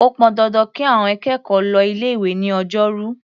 Ó pọn dandan kí àọn akẹ́kọ̀ọ́ lọ ilé-ìwé ní Ọjọ́rú.